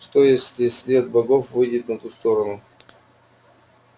что если след богов выйдет на ту сторону